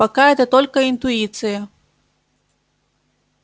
пока это только интуиция